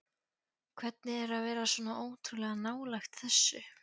Hvernig er að vera svona ótrúlega nálægt þessu?